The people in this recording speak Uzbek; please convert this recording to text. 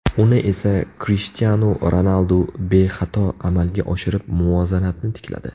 Uni esa Krishtianu Ronaldu bexato amalga oshirib, muvozanatni tikladi.